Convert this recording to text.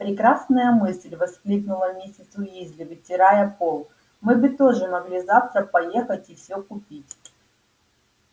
прекрасная мысль воскликнула миссис уизли вытирая пол мы бы тоже могли завтра поехать и все купить